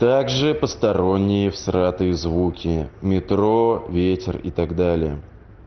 также посторонние всратые звуки метро ветер и так далее